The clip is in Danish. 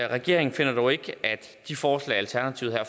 regeringen finder dog ikke at de forslag alternativet her